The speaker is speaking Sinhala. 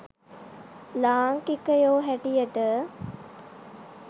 ලාංකිකයො හැටියට.